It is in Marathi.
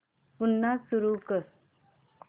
पुन्हा सुरू कर